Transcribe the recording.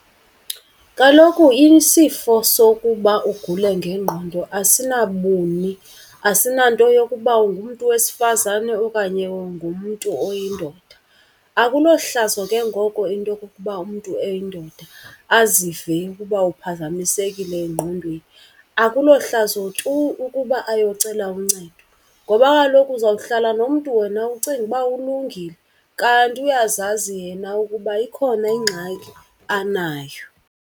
Kaloku isifo sokuba ugule ngengqondo asinabuni, asinanto yokuba ungumntu wesifazane okanye ungumntu oyindoda. Akulohlazo ke ngoko into okokuba umntu eyindoda azive ukuba uphazamisekile engqondweni. Akulohlazo tu ukuba ayocela uncedo. Ngoba kaloku uzawuhlala nomntu wena ucinga uba ulungile kanti uyazazi yena ukuba ikhona ingxaki anayo.